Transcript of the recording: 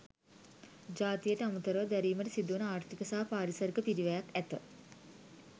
ජාතියට අමරතව දැරිමට සිදුවන ආර්ථික සහ පාරිසරික පිරිවැයක් ඇත.